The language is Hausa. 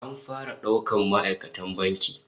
An fara daukan ma'aikatan bankin